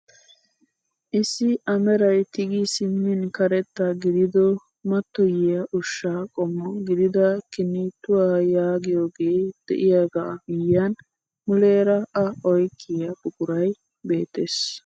Issi a meray tigi simmin karetta gidido mattoyiyaa ushshaa qommo gidida kinittuwaa yaagiyooge de'iyaagaa miyiyaan muleera a oyqiyaa buquray beettees.